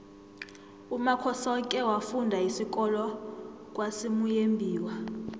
umakhosoke wafunda isikolo kwasimuyembiwa